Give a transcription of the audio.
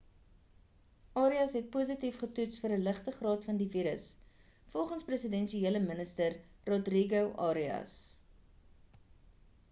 arias het positief getoets vir 'n ligte graad van die virus volgens presidensiële minister rodrigo arias